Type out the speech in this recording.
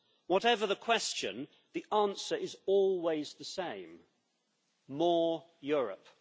Whatever the question, the answer is always the same more Europe.